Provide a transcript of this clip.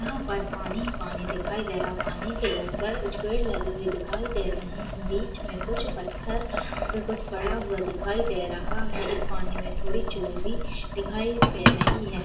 यहाँ पर पानी ही पानी दिखाई दे रहा है पानी के ऊपर कुछ पेड़ लगे हुए दिखाई दे रहे हैं बीच मे कुछ पत्थर पे पड़ा हुआ दिखाई दे रहा है इस पानी मे थोड़ी चोई भी दिखाई दे रही है।